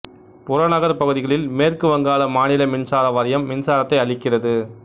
புறநகர் பகுதிகளில் மேற்கு வங்காள மாநில மின்சாரம் வாரியம் மின்சாரத்தை அளிக்கிறது